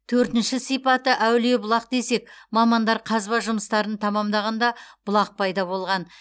төртінші сипаты әулие бұлақ десек мамандар қазба жұмыстарын тәмамдағанда бұлақ пайда болған